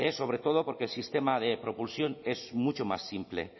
sobre todo porque el sistema de propulsión es mucho más simple